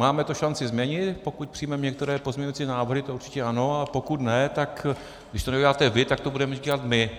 Máme to šanci změnit, pokud přijmeme některé pozměňovací návrhy, to určitě ano, a pokud ne, tak když to neuděláte vy, tak to budeme dělat my